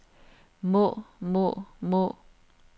må må må